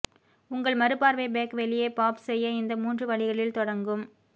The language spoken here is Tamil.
உங்கள் மறுபார்வை பேக் வெளியே பாப் செய்ய இந்த மூன்று வழிகளில் தொடங்கும்